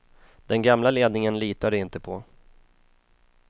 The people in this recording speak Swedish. Den gamla ledningen litar de inte på.